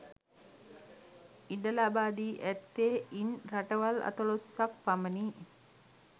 ඉඩ ලබා දී ඇත්තේ ඉන් රටවල් අතලොස්සක් පමණි